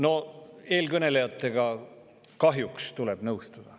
Kahjuks tuleb eelkõnelejatega nõustuda.